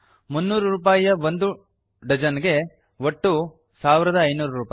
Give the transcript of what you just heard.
300 ರೂಪಾಯಿ ಒಂಡು ಡಜನ್ ಗೆ ಒಟ್ಟು 1500